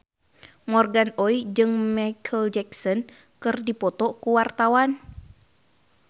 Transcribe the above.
Morgan Oey jeung Micheal Jackson keur dipoto ku wartawan